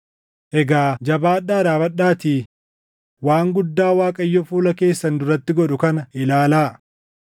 “Egaa jabaadhaa dhaabadhaatii waan guddaa Waaqayyo fuula keessan duratti godhu kana ilaalaa!